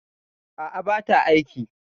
A'a, bata aiki.